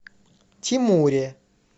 тимуре